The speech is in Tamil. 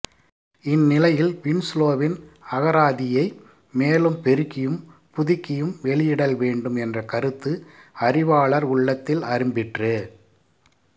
இந்நிலையில் வின்சுலோவின் அகராதியைப் மேலும் பெருக்கியும் புதுக்கியும் வெளியிடல் வேண்டும் என்ற கருத்து அறிவாளர் உள்ளத்தில் அரும்பிற்று